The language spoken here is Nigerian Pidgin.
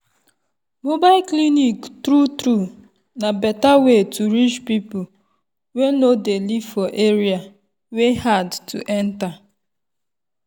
mobile clinic true true na better way to reach people wey dey live for area wey hard to enter.